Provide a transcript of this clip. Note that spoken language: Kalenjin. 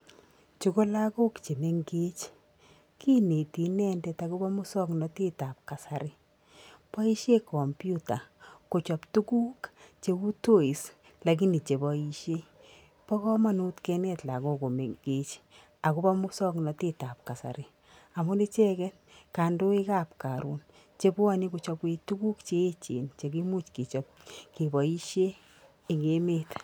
chebo lagok che mengech kineti inendet akobo mosoknotetab kasari boisiei kompyuta kochob tuguk cheu toys lakini cheboisiei bo komonut kenet lagok ko mengech akobo moasoknatetab kasari amun ichege kandoikab karon che bwoni kochobwech tuguk che echen che kimuch kechob, ke boisye eng emet.